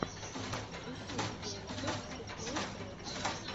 ищи видеорецепт сурпрайз лайф